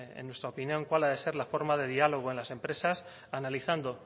en nuestra opinión cuál ha de ser la forma de diálogo en las empresas analizando